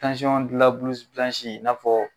i n'afɔ